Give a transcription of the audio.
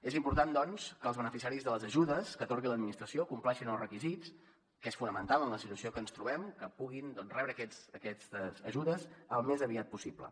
és important doncs que els beneficiaris de les ajudes que atorgui l’administració compleixin els requisits i és fonamental que en la situació que ens trobem que puguin doncs rebre aquestes ajudes al més aviat possible